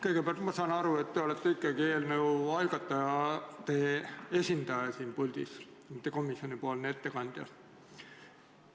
Kõigepealt, ma saan aru, et te olete ikkagi eelnõu algatajate esindaja siin puldis, mitte komisjonipoolne ettekandja.